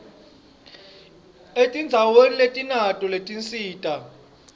etindzaweni letinato letinsita